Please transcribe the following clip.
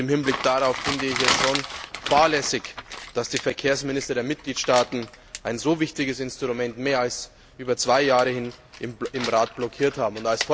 Im Hinblick darauf finde ich es schon fahrlässig, dass die Verkehrsminister der Mitgliedstaaten ein so wichtiges Instrument mehr als zwei Jahre lang im Rat blockiert haben.